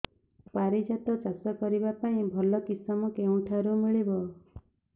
ପାରିଜାତ ଚାଷ କରିବା ପାଇଁ ଭଲ କିଶମ କେଉଁଠାରୁ ମିଳିବ